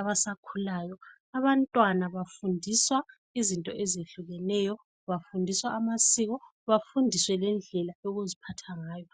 abasakhulayo. Abantwana bafundiswa izinto ezehlukeneyo. Bafundiswa amasiko bafundiswe lendlela yokuziphatha ngayo.